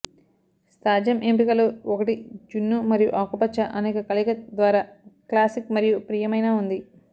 సాధ్యం ఎంపికలు ఒకటి జున్ను మరియు ఆకుపచ్చ అనేక కలయిక ద్వారా క్లాసిక్ మరియు ప్రియమైన ఉంది